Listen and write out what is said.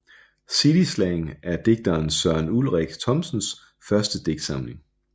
City slang er digteren Søren Ulrik Thomsens første digtsamling